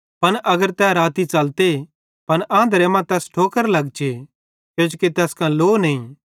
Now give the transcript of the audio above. पन अगर तै राती च़लते त आंधरे मां तैस ठोकर लगचे किजोकि तैस कां लो नईं